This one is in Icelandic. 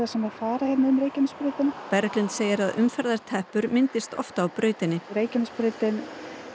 sem fara hérna um Reykjanesbrautina Berglind segir að umferðarteppur myndist oft á brautinni Reykjanesbrautin